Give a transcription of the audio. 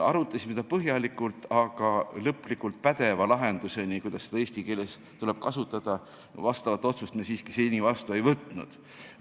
Arutasime seda põhjalikult, aga lõplikult pädeva lahenduseni, kuidas seda eesti keeles kasutada, me siiski ei jõudnud ja vastavat otsust me vastu ei võtnud.